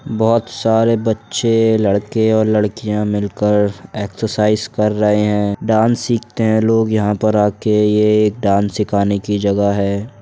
बोहोत सारे बच्चे लड़के और लड़कियां मिल कर एक्सासाइज़ कर रहे है डांस सीखते हैं लोग यहाँ पर आके। ये एक डांस सिखाने की जगह है।